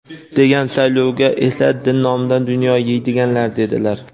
degan savolga esa: "Din nomidan dunyo yeydiganlar", dedilar.